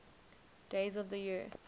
days of the year